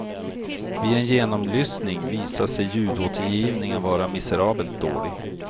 Vid en genomlyssning visade sig ljudåtergivningen vara miserabelt dålig.